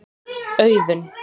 Auðunn